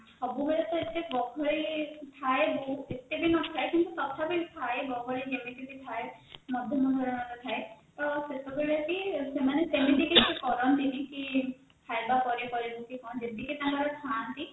ସବୁବେଳେ ତ ଏତେ ଗହଳି ଥାଏ ବହୁତ ଏତେବି ନଥାଏ କିନ୍ତୁ ତଥାପି ଥାଏ ଗହଳି ଯେମତି ବି ଥାଏ ମାଧ୍ୟମ ଧରଣର ଥାଏ ତ ସେତେବେଳେ ବି ସେମାନେ ସେମିତି କିଛି କରନ୍ତିନି କି ଖାଇବା ପାରେ କରିବୁ କି କଣ ଯେତିକି ତାଙ୍କର ଥାଆନ୍ତି